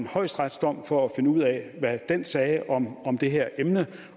højesteretsdom for at finde ud af hvad den sagde om om det her emne